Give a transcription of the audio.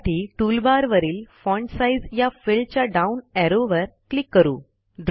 त्यासाठी टूलबार वरील font size या फिल्डच्या डाऊन ऍरोवर क्लिक करू